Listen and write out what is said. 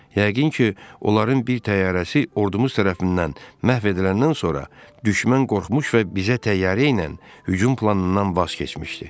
Yəqin ki, onların bir təyyarəsi ordumuz tərəfindən məhv ediləndən sonra düşmən qorxmuş və bizə təyyarə ilə hücum planından vaz keçmişdi.